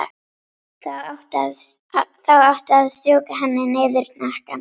Þá áttu að strjúka henni niður hnakkann.